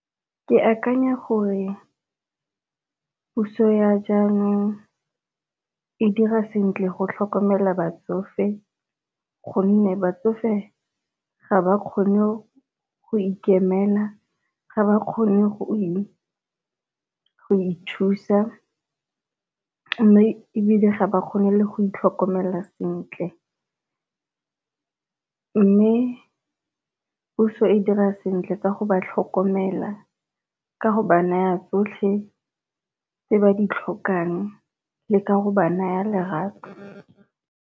Ke akanya gore puso ya jaanong e dira sentle go tlhokomela batsofe, gonne batsofe ga ba kgone go ikemela ga ba kgone go ithusa. Mme ebile ga ba kgone le go itlhokomela sentle, mme puso e dira sentle ka go ba tlhokomela ka go ba naya tsotlhe tse ba di tlhokang le ka go ba naya lerato.